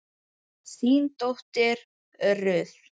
þín dóttir Ruth.